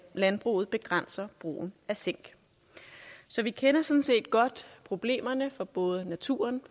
landbruget begrænser brugen af zink så vi kender sådan set godt problemerne for både naturen